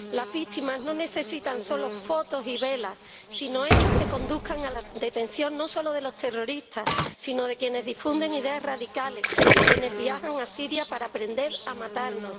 Las víctimas no necesitan solo fotos y velas, sino hechos que conduzcan a la detención no solo de los terroristas, sino de quienes difunden ideas radicales y de quienes viajan a Siria para aprender a matarnos.